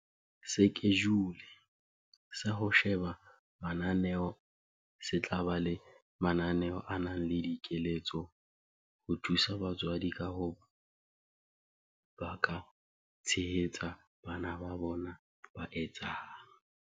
Sekejule sa ho sheba mananeo se tla ba le mananeo a nang le dikeletso ho thusa batswadi ka hore ba ka tshehetsa bana ba bona ba etsang